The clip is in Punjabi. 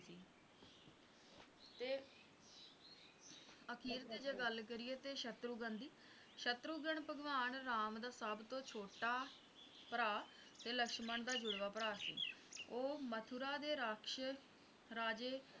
ਅਖੀਰ ਤੇ ਜੇ ਗੱਲ ਕਰੀਏ ਸ਼ਤੁਰਘਨ ਦੀ ਸ਼ਤਰੁਘਨ ਭਗਵਾਨ ਰਾਮ ਦਾ ਸਭ ਤੋਂ ਛੋਟਾ ਭਰਾ ਤੇ ਲਕਸ਼ਮਣ ਦਾ ਜੁੜਵਾ ਭਰਾ ਸੀ ਉਹ ਮਥੁਰਾ ਦੇ ਰਾਕਸ਼ਸ ਰਾਜੇ